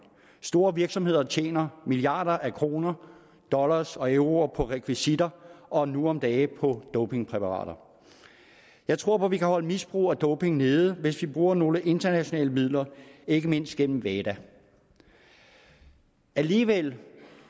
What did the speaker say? store virksomheder tjener milliarder af kroner dollars og euro på rekvisitter og nu om dage på dopingpræparater jeg tror at vi kan holde misbrug af doping nede hvis vi bruger nogle internationale midler ikke mindst gennem wada alligevel